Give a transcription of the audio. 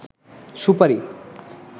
সুপারি